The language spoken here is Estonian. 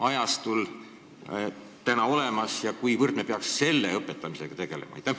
Mil määral me peaksime selle õpetamisega tegelema?